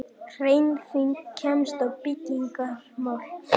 HREYFING KEMST Á BYGGINGARMÁL